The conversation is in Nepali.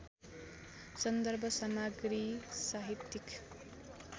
सन्दर्भ सामग्री साहित्यिक